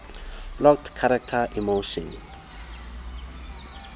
plot characters emotion